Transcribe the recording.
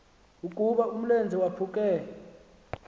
ukuba umlenze waphuke